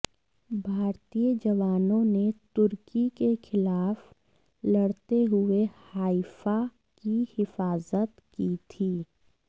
भारतीय जवानों ने तुर्की के खिलाफ लड़ते हुए हाइफ़ा की हिफाजत की थी